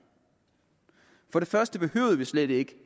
for det første behøvede vi slet ikke